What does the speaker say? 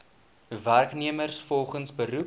werknemers volgens beroep